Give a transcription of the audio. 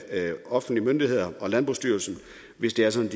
offentlige myndigheder og landbrugsstyrelsen hvis det er sådan